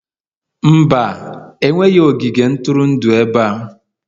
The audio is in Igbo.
Mba, enweghị ogige ntụrụndụ ebe a